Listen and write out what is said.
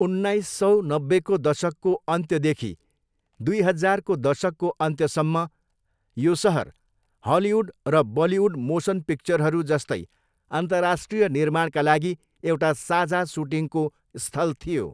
उन्नाइससौ नब्बेको दशकको अन्त्यदेखि दुई हजारको दशकको अन्त्यसम्म यो सहर हलिउड र बलिउड मोसन पिक्चरहरू जस्तै अन्तर्राष्ट्रिय निर्माणका लागी एउटा साझा सुटिङको स्थल थियो।